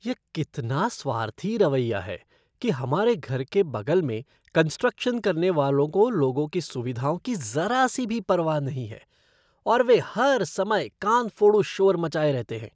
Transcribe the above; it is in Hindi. यह कितना स्वार्थी रवैया है कि हमारे घर के बगल में कंस्ट्रक्शन करने वालों को लोगों की सुविधाओं की जरा सी भी परवाह नहीं है और वे हर समय कानफोड़ू शोर मचाए रहते हैं।